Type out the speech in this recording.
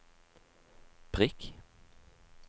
prikk